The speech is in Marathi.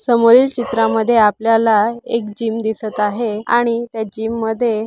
समोरील चित्रांमध्ये आपल्याला एक जिम दिसत आहे आणि त्या जिम मध्ये--